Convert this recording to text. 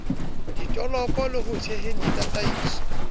ditoloko le ho theheng ditataiso